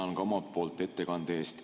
Tänan ka omalt poolt ettekande eest.